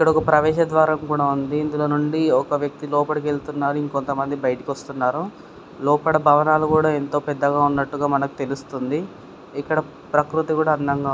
ఇక్కడ ఒక ప్రవేశ ద్వారం కూడా ఉంది. ఇందులో నుండి ఒక వ్యక్తి లోపలికి వెళుతున్నారు ఇంకొత మంది బయటికి వస్తున్నారు లోపల బావనలు కూడా యెంతో పెద్దగా ఉన్నాట్టుగా మనకు తెలుస్తుంది. ఇక్కడ ప్రకృతి కూడా అందంగా --